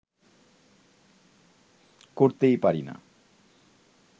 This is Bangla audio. করতেই পারি না